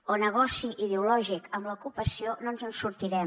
o negoci ideològic amb l’ocupació no ens en sortirem